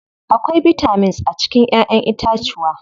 Akwai bitamins a cikin ƴaƴen itacuwa.